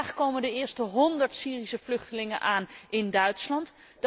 Vandaag komen de eerste honderd Syrische vluchtelingen aan in Duitsland.